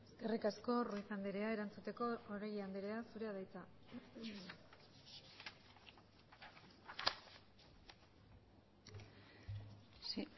eskerrik asko ruiz andrea erantzuteko oregi andrea zurea da hitza sí